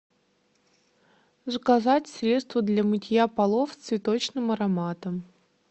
заказать средство для мытья полов с цветочным ароматом